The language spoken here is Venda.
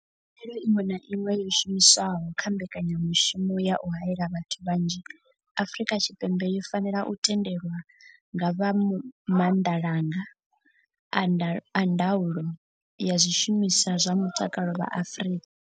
Khaelo iṅwe na iṅwe yo shumiswaho kha mbekanyamushumo ya u haela vhathu vhanzhi Afrika Tshipembe yo fanela u tendelwa nga vha maanḓalanga a ndaulo ya zwishumiswa zwa mutakalo vha Afrika.